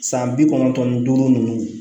San bi kɔnɔntɔn ni duuru ninnu